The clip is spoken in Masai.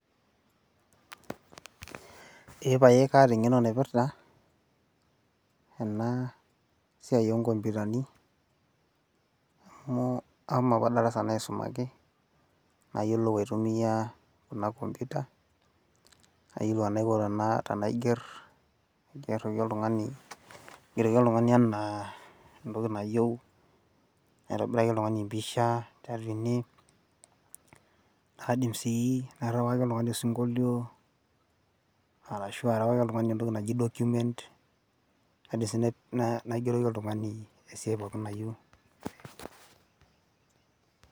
eepae kaata engeno naipirta ena siai oo nkomputani amu ashomo apa darasa nayiolou aitumia ena computer nayiolou enaiko tenaiger. aigeroki oltungani anaa enayieu, naitobiraki oltungani empisha. aidi sii aterewaki oltungani osinkulio. ashu aterawaki oltungani entoki naji document. kaidim sii aterewaki oltungani entoki nayieu.